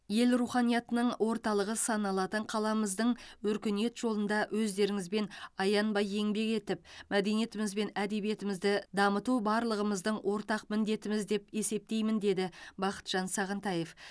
ел руханиятының орталығы саналатын қаламыздың өркениет жолында өздеріңізбен аянбай еңбек етіп мәдениетіміз бен әдебиетімізді дамыту барлығымыздың ортақ міндетіміз деп есептеймін деді бақытжан сағынтаев